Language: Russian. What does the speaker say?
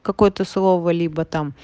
какое-то слово либо там